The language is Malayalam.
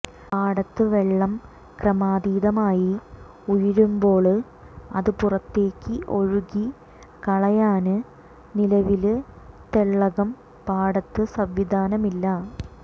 പാടത്ത് വെള്ളം ക്രമാതീതമായി ഉയരുമ്പോള് അത് പുറത്തേക്കു ഒഴുക്കി കളയാന് നിലവില് തെള്ളകം പാടത്ത് സംവിധാനമില്ല